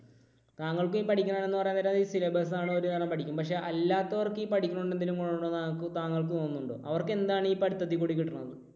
താങ്കൾക്ക് ഈ പഠിക്കുന്നത് എന്നു പറയാൻ നേരം ഈ syllabus പക്ഷേ അല്ലാത്തവർക്ക് ഈ പഠിക്കുന്നത് കൊണ്ട് എന്തെങ്കിലും ഗുണം ഉണ്ട് എന്ന് താങ്കൾക്ക് തോന്നുന്നുണ്ടോ? അവർക്ക് എന്താണ് ഈ പഠിത്തത്തിൽ കൂടി കിട്ടുന്നത്?